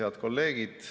Head kolleegid!